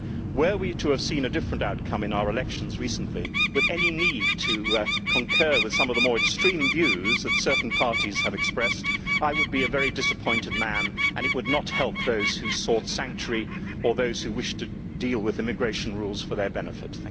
Were we to have seen a different outcome in our elections recently, with any need to concur with some of the more extreme views that certain parties have expressed, I would be a very disappointed man, and it would not help those who sought sanctuary or those who wish to deal with immigration rules for their benefit.